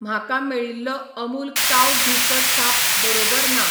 म्हाका मेळिल्लो अमूल काव घी चो छाप बरोबर ना.